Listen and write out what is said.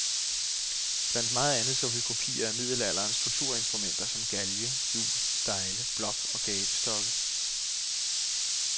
Blandt meget andet så vi kopier af middelalderens torturinstrumenter som galge, hjul og stejle, blok og gabestokke.